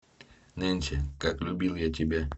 нэнси как любил я тебя